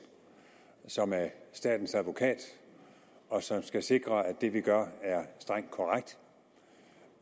som er statens advokat og som skal sikre at det vi gør er strengt korrekt